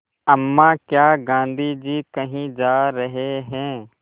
अम्मा क्या गाँधी जी कहीं जा रहे हैं